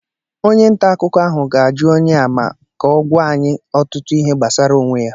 onye nta akụkọ ahụ ga-ajụ onye a ma ama ka ọ gwa anyị ọtụtụ ihe gbasara onwe ya